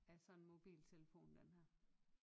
Af sådan en mobiltelefon den her